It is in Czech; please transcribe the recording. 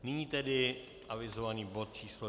Nyní tedy avizovaný bod číslo